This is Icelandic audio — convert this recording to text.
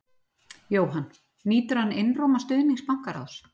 Jóhann: Nýtur hann einróma stuðnings bankaráðs?